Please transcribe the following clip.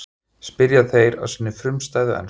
spyrja þeir á sinni frumstæðu ensku.